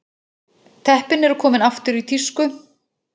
Teppin eru komin aftur í tísku